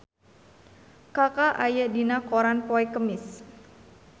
Kaka aya dina koran poe Kemis